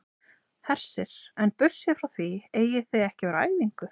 Hersir: En burtséð frá því eigið þið ekki að vera á æfingu?